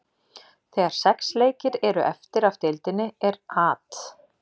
Þegar sex leikir eru eftir af deildinni er At.